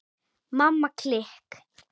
Mamma klikk!